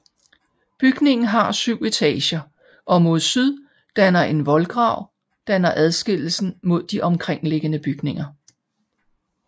Bygningen har syv etager og mod syd danner en voldgrav danner adskillelsen mod de omkringliggende bygninger